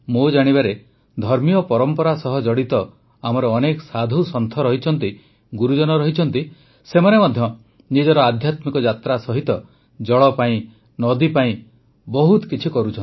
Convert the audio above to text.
ମୋ ଜାଣିବାରେ ଧର୍ମୀୟ ପରମ୍ପରା ସହ ଜଡ଼ିତ ଆମର ଅନେକ ସାଧୁସନ୍ଥ ରହିଛନ୍ତି ଗୁରୁଜନ ରହିଛନ୍ତି ସେମାନେ ମଧ୍ୟ ନିଜର ଆଧ୍ୟାତ୍ମିକ ଯାତ୍ରା ସହ ଜଳ ପାଇଁ ନଦୀ ପାଇଁ ବହୁତ କିଛି କରୁଛନ୍ତି